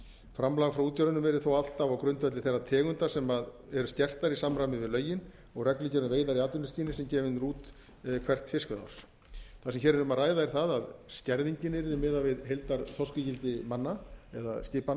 framlag frá útgerðunum yrði þó ávallt á grundvelli þeirra tegunda sem eru skertar í samræmi við lögin og reglugerð um veiðar í atvinnuskyni sem gefin er út fyrir hvert fiskveiðiár það sem hér er um að ræða er það að skerðingin yrði miðað við heildarþorskígildi manna